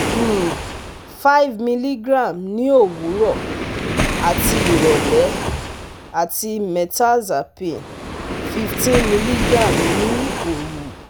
um five milligram ní òwúrọ̀ àti ìrọ̀lẹ́ àti Mirtazapine fifteen milligram ní òru